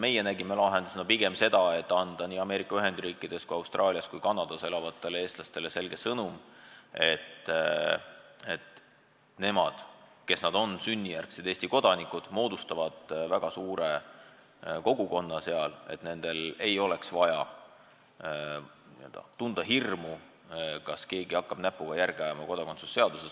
Meie näeme lahendusena pigem seda, et me anname nii Ameerika Ühendriikides kui Austraalias kui Kanadas elavatele eestlastele selge sõnumi, et nendel, kes nad on sünnijärgsed Eesti kodanikud ja moodustavad eemal väga suure kogukonna, ei ole vaja tunda hirmu, et keegi hakkab kodakondsuse seaduses näpuga järge ajama.